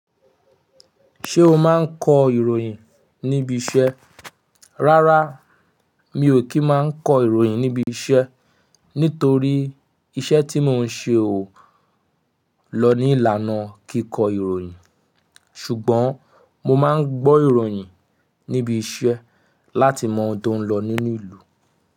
Ṣé o máa ń kọ ìròyìn níbi iṣẹ́? Rárá, mi ò kí ń máa kọ ìròyìn níbi iṣẹ́ nítorí iṣẹ́ tí mò ń ṣe o lọ ní ìlànà kí kọ ìròyìn. Ṣùgbọ́n mo máa ń gbọ́ ìròyìn níbi iṣẹ́ láti mọ ohun tó ń lọ nínú ìlú.